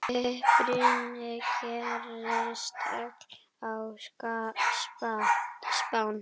Uppruni gerist öll á Spáni.